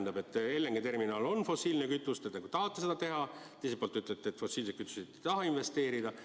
Ühelt poolt te nagu tahate teha LNG ehk fossiilse kütuse terminali, teiselt poolt ütlete, et fossiilsetesse kütustesse te ei taha investeerida.